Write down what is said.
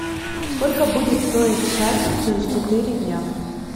сколько будет стоить шекель через четыре дня